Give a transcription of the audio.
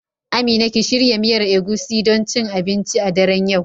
Amina ki shirya miyar Egusi don cin abinci a daren yau.